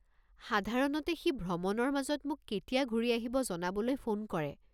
সাধাৰণতে সি ভ্ৰমণৰ মাজত মোক কেতিয়া ঘূৰি অহিব জনাবলৈ ফোন কৰে।